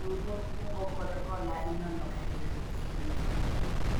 riwruog kungo kod hola inono ga diriyo e higa